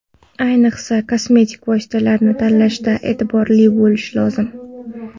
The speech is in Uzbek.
Ayniqsa, kosmetik vositalarni tanlashda e’tiborli bo‘lish lozim.